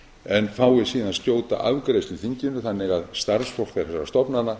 en fái síðan skjóta afgreiðslu í þinginu þannig að starfsfólk þessara stofnana